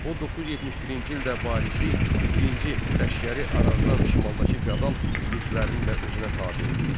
O 971-ci ildə varisi birinci Ləşkəri Arazdan şimaldakı feodal mülklərini də özünə tabe etdi.